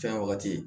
Fɛn wagati